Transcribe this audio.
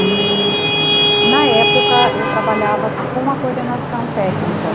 E, na época, eu trabalhava com a coordenação técnica.